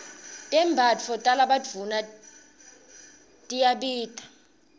tembatfo talabadvuna tiyabita